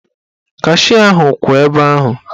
Kashịa ahụ kwụ ebe ahụ.